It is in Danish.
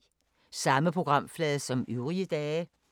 Samme programflade som øvrige dage